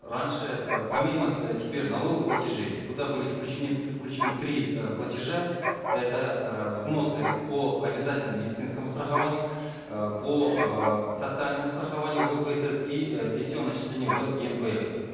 раньше э помимо э теперь налоговых платежей туда были включены три э платежа это э взносы по обязательному медицинскому страхованию э по э социальному страхованию гпсс и э пенсионные отчисления в енпф